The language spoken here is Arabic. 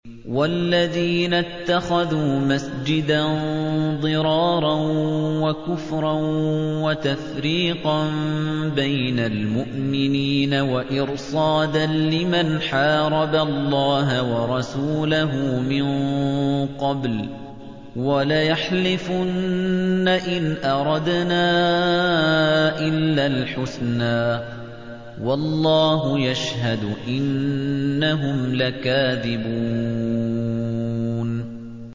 وَالَّذِينَ اتَّخَذُوا مَسْجِدًا ضِرَارًا وَكُفْرًا وَتَفْرِيقًا بَيْنَ الْمُؤْمِنِينَ وَإِرْصَادًا لِّمَنْ حَارَبَ اللَّهَ وَرَسُولَهُ مِن قَبْلُ ۚ وَلَيَحْلِفُنَّ إِنْ أَرَدْنَا إِلَّا الْحُسْنَىٰ ۖ وَاللَّهُ يَشْهَدُ إِنَّهُمْ لَكَاذِبُونَ